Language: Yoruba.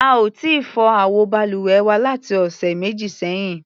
A ò tíì fọ àwọ balùwẹ̀ wa láti ọ̀sẹ̀ méjì sẹ́yìn.